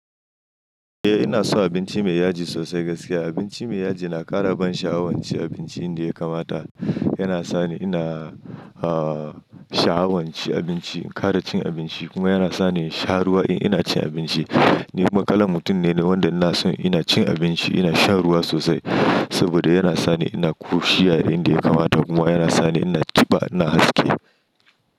Eh ina son abinci mai yaji sosai gaskiya. Abinci mai yaji na ƙara ban sha'awa cin abinci inda yakamata. Yana sani ina, ah, sha'awan cin abinci, in ƙara cin abinci kuma yana sani sha ruwa in ina cin abinci. Ni kuma kalan mutum ne wanda ina son ina cin abinci ina shan ruwa sosai saboda yana sani ina ƙoshiya inda yakamata kuma yana sani ina ƙiba ina haske.